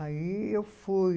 Aí eu fui.